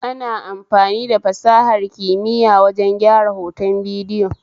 Ana amfani da fasahar kimiya wajen gyara hoton bidiyo